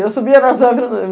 Eu subia nas árvores.